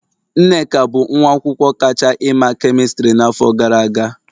Nneka bụ nwa akwụkwọ kacha ima kemistri n'afọ gara aga